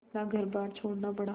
अपना घरबार छोड़ना पड़ा